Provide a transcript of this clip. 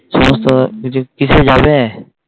সমস্ত কিছু কিসে যাবে?